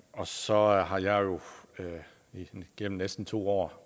og så har jeg jo igennem næsten to år